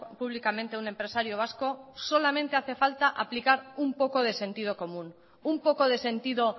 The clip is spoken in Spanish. públicamente un empresario vasco solamente hace falta aplicar un poco de sentido común un poco de sentido